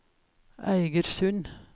Eigersund